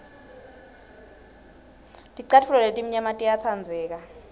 ticatfulo letimnyama tiyatsandleka